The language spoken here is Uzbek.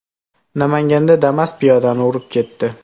Namanganda Damas piyodani urib ketdi.